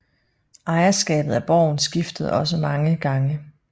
Ejerskabet af borgen skiftede også mange gange